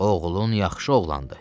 Oğlun yaxşı oğlandı.